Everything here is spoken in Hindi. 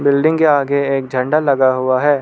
बिल्डिंग के आगे एक झंडा लगा हुआ है।